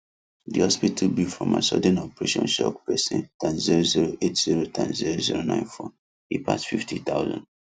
the hospital bill from her sudden operation shock person times zero zero eight zero times zero zero nine four e pass fifty thousand